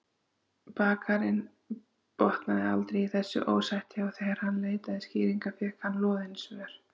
Bakarinn botnaði aldrei í þessu ósætti og þegar hann leitaði skýringa fékk hann loðin svör.